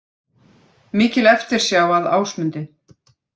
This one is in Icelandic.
Mikil eftirsjá að Ásmundi